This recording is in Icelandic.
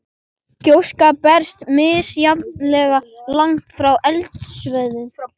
Gjóskan berst misjafnlega langt frá eldstöðvunum.